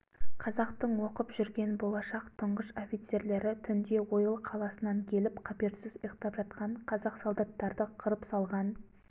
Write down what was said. қазақтың оқып жүрген болашақ тұңғыш офицерлері түнде ойыл қаласынан келіп қаперсіз ұйықтап жатқан қазақ солдаттарды қырып салған